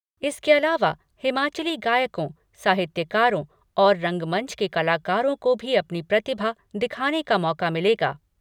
इसके अलावा हिमाचली गायकों, साहित्यकारों और रंगमंच के कलाकारों को भी अपनी प्रतिभा दिखाने का मौका मिलेगा।